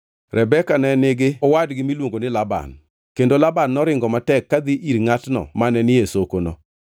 Rebeka ne nigi owadgi miluongo ni Laban, kendo Laban noringo matek ka dhi ir ngʼatno mane ni e sokono.